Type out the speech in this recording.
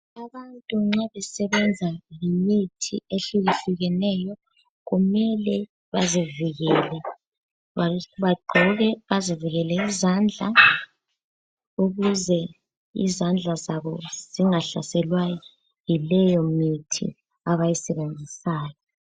Abantu nxa besebenza ngemithi ehlukehlukeneyo kumele bazivikele. Bagqoke bazivikele izandla ukuze izandla zabo zingahlaselwa yileyomithi abayisebenzisayo.